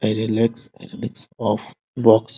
आइरेलेक्स आइरेलेक्स of box --